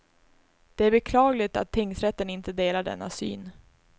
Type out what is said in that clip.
Det är beklagligt att tingsrätten inte delar denna syn.